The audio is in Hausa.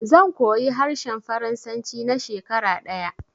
Zan koyi harshen faransanci na shekara ɗaya